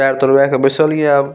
पैर तोड़वे के बैसल ये आब।